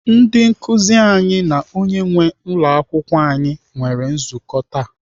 Ndị nkụzi anyị na onye nwee ụlọakwụkwọ anyị mere nzukọ taa.